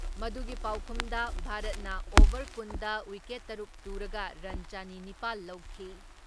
ꯃꯗꯨꯒꯤ ꯄꯥꯎꯈꯨꯝꯗ ꯚꯥꯔꯠꯅ ꯑꯣꯚꯔ ꯀꯨꯟ ꯗ ꯋꯤꯀꯦꯠ ꯇꯔꯨꯛ ꯇꯨꯔꯒ ꯔꯟ ꯆꯅꯤ ꯅꯤꯄꯥꯜ ꯂꯧꯈꯤ ꯫